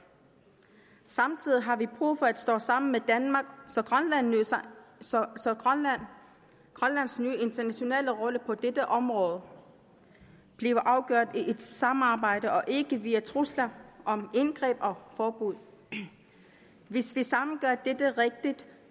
samtidig har vi brug for at stå sammen med danmark så grønlands nye internationale rolle på dette område bliver afgjort i et samarbejde og ikke via trusler om indgreb og forbud hvis vi sammen gør dette rigtigt